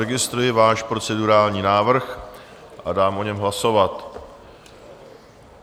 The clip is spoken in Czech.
Registruji váš procedurální návrh a dám o něm hlasovat.